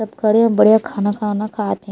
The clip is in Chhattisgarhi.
सब खड़े हे बढ़िया खाना-खाना खात हे।